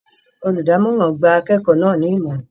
Olùdámọ̀ràn gba akẹ́kọ̀ọ́ náà ní Ìmọ̀ràn